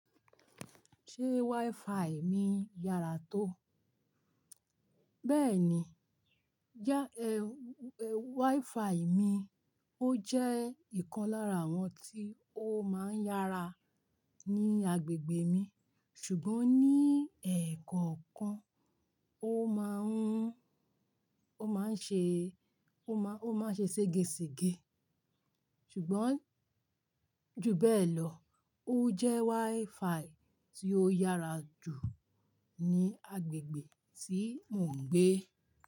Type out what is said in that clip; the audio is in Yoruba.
Ṣé WiFi mi yára tó? Bẹ́ẹ̀ni, já e-- e-- WiFi mi ó jẹ́ ìkan lára àwọn tí ó máa ń yára ní agbègbè mi, ṣùgbọ́n ní ẹ̀ẹ̀kọ̀kan ó máa ń, ó máa ń ṣe, ó má-- ó máa ń ṣe ségesege. Ṣùgbọ́n ju bẹ́ẹ̀ lọ, ó jẹ́ WiFi tí ó yára jù ní agbègbè tí mò ń gbé.